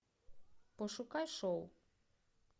пошукай шоу